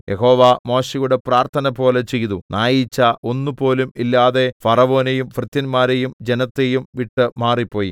യഹോവ മോശെയുടെ പ്രാർത്ഥനപോലെ ചെയ്തു നായീച്ച ഒന്നുപോലും ഇല്ലാതെ ഫറവോനെയും ഭൃത്യന്മാരെയും ജനത്തെയും വിട്ട് മാറിപ്പോയി